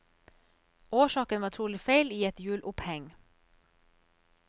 Årsaken var trolig feil i et hjuloppheng.